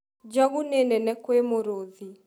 Njogũ nĩ nene kwĩ mũrũthi